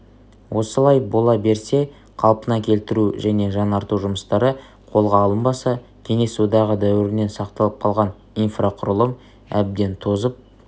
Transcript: осылай бола берсе қалпына келтіру және жаңарту жұмыстары қолға алынбаса кеңес одағы дәуірінен сақталып қалған инфрақұрылым әбден тозып